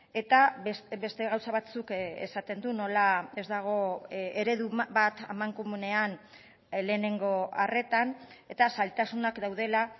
eta beste gauza batzuk esaten du nola ez dagoen eredu bat amankomunean lehenengo arretan eta zailtasunak daudela